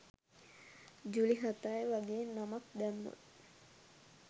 ජූලි හතයි වගේ නමක් දැම්මොත්